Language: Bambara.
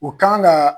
U kan ka